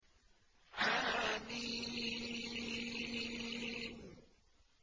حم